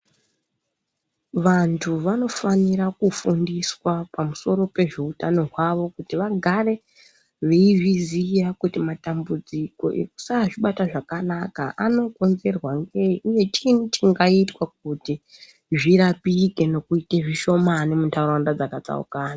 Vantu vanofanira kufundiswa pamusoro pezveutano hwavo kuti vagare veizviziya kuti matambudziko ekusazvibata zvakanaka anokonzereswa ngei uye chinyi chingaitwa kuti zvirapike nekuita zvishomane munharaunda dzakatsaukana.